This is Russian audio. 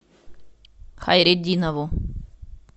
хайретдинову